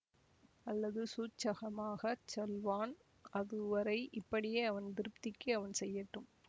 அல்லது சூட்சகமாகச் சொல்வான் அது வரை இப்படியே அவன் திருப்திக்கு அவன் செய்யட்டும்